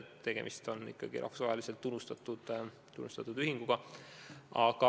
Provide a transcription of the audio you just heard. Tegemist on ikkagi rahvusvaheliselt tunnustatud organisatsiooniga.